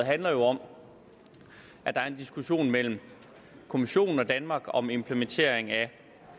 handler jo om at der er en diskussion mellem kommissionen og danmark om implementeringen